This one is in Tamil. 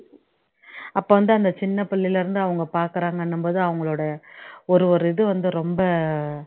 அப்போ வந்து அந்த சின்ன பிள்ளையில இருந்து அவங்க பாக்குறாங்கன்னும் போது அவங்களோட ஒரு ஒரு இதுவந்து ரொம்ப